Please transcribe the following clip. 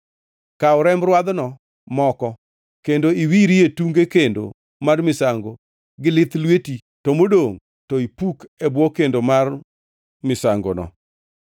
Kaw remb rwadhno moko kendo iwirie tunge kendo mar misango gi lith lweti to modongʼ to ipuk e bwo kendo mar misangono.